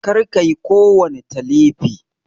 Kar kayi kowani Talifi!